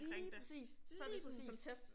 Lige præcis, lige præcis